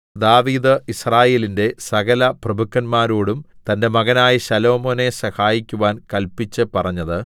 ദാവീദ് യിസ്രായേലിന്റെ സകലപ്രഭുക്കന്മാരോടും തന്റെ മകനായ ശലോമോനെ സഹായിക്കുവാൻ കല്പിച്ചുപറഞ്ഞത്